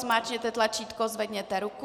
Zmáčkněte tlačítko, zvedněte ruku.